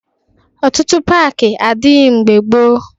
Ọtụtụ paakị adịghị mgbe gboo